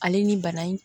Ale ni bana in